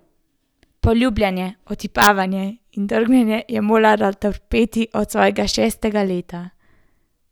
Poljubljanje, otipavanje in drgnjenje je morala trpeti od svojega šestega leta.